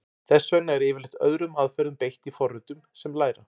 Þess vegna er yfirleitt öðrum aðferðum beitt í forritum sem læra.